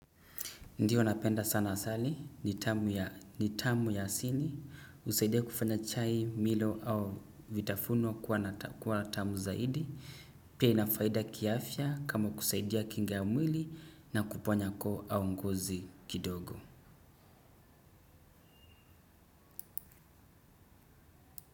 Ndiyo napenda sana asali, ni tamu ya asili, husaidia kufanya chai, milo au vitafununwa kuwa tamu zaidi, pia ina faida kiafya kama kusaidia kinga ya mwili na kuponya koo au nguzi kidogo.